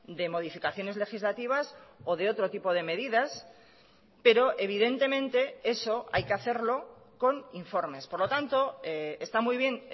de modificaciones legislativas o de otro tipo de medidas pero evidentemente eso hay que hacerlo con informes por lo tanto está muy bien